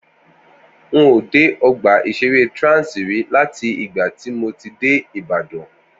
N ò dé ọgbà ìṣeré Trans rí láti ìgbà tí mo ti dé Ìbàdàn